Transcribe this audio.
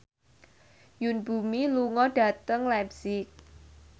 Yoon Bomi lunga dhateng leipzig